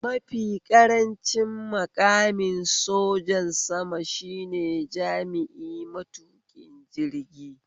Mafi ƙarancin maƙamin sojan sama shine jami'i matuƙin jirgi